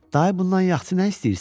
Dayı bundan yaxşı nə istəyirsən?